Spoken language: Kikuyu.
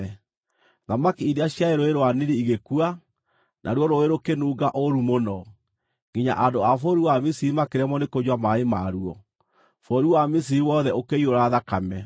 Thamaki iria ciarĩ Rũũĩ rwa Nili igĩkua, naruo rũũĩ rũkĩnunga ũũru mũno, nginya andũ a bũrũri wa Misiri makĩremwo nĩ kũnyua maaĩ maruo. Bũrũri wa Misiri wothe ũkĩiyũra thakame.